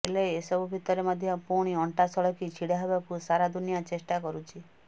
ହେଲେ ଏସବୁ ଭିତରେ ମଧ୍ୟ ପୁଣି ଅଣ୍ଟା ସଳଖି ଛିଡ଼ା ହେବାକୁ ସାରା ଦୁନିଆ ଚେଷ୍ଟା କରୁଛି